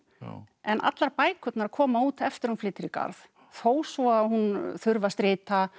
en allar bækurnar koma út eftir að hún flytur í Garð þó svo að hún þurfi að strita